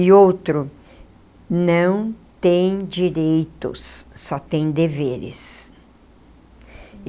E outro, não tem direitos, só tem deveres.